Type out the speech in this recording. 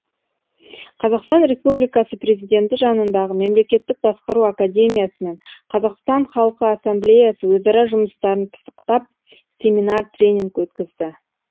қазақстан республикасы президенті жанындағы мемлекеттік басқару академиясы мен қазақстан халқы ассамблеясы өзара жұмыстарын пысықтап семинар тренинг өткізді